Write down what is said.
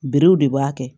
Berew de b'a kɛ